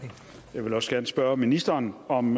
jeg vil også gerne spørge ministeren om